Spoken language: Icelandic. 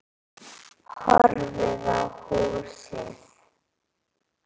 Horfði á húsið.